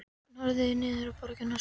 Hann horfði niður á borgina og sá